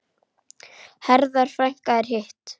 Herða frekar en hitt?